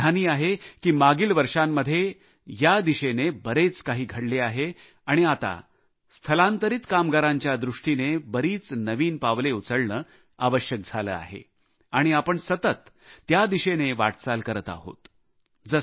मी समाधानी आहे की मागील वर्षांमध्ये या दिशेने बरेच काही घडले आहे आणि आता स्थलांतरित कामगारांच्या दृष्टीने बरीच नवीन पावले उचलणे आवश्यक झाले आहे आणि आपण सतत त्या दिशेने वाटचाल करत आहोत